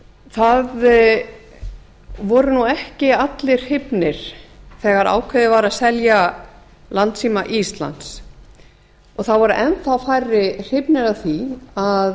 það voru ekki allir hrifnir þegar ákveðið var að selja landssíma íslands og þá voru enn þá færri hrifnir af því að